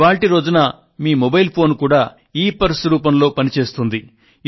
ఇవాళ్టి రోజున మీ మొబైల్ ఫోన్ కూడా ఇపర్స్ రూపంలో పని చేస్తుంది